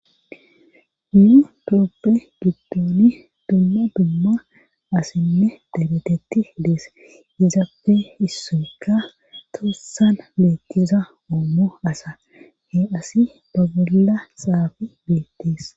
Nu tophe gidoni giddooni dumma dumma asinne dabetetti dees izafe issoykka toossan beettiza ommo asa he asi babolla saafi beettees.